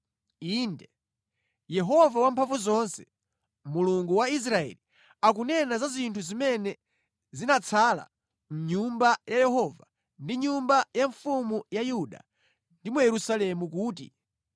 Inde, Yehova Wamphamvuzonse, Mulungu wa Israeli, akunena za zinthu zimene zinatsala mʼNyumba ya Yehova ndi mʼnyumba ya mfumu ya Yuda ndi mu Yerusalemu kuti,